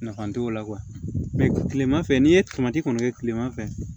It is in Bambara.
Nafa t'o la kilema fɛ n'i ye kɔni kɛ kileman fɛ